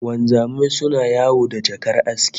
Wanzamai suna yawo da jakar aski